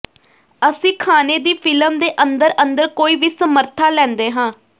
ਅਸੀਂ ਖਾਣੇ ਦੀ ਫਿਲਮ ਦੇ ਅੰਦਰ ਅੰਦਰ ਕੋਈ ਵੀ ਸਮਰੱਥਾ ਲੈਂਦੇ ਹਾਂ